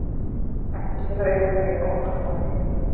bætti séra Auðunn við óþolinmóður.